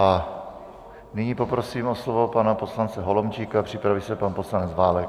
A nyní poprosím o slovo pana poslance Holomčíka, připraví se pan poslanec Válek.